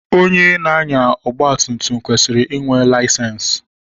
Onye na-anya ọgba tum tum kwesịrị inwe layisensi.